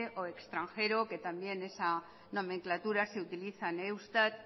o extranjero que también esa nomenclatura se utiliza en eustat